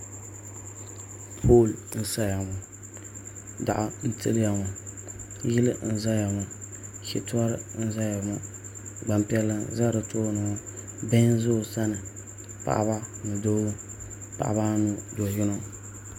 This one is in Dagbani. Pool n saya ŋɔ daɣu n tiliya ŋɔ yili n ʒɛya ŋɔ shitɔri n ʒɛya ŋɔ Gbanpiɛlli n ʒɛ di tooni ŋɔ bihi n ʒɛ o sani paɣaba ni Doo paɣaba anu do yino